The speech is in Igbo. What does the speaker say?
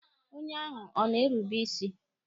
Onye ahụ ọ na-erube isi?